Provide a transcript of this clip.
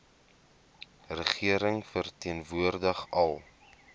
regering verteenwoordig al